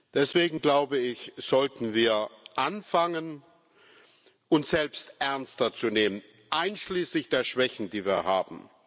Deswegen, glaube ich, sollten wir anfangen, uns selbst ernster zu nehmen einschließlich der Schwächen, die wir haben.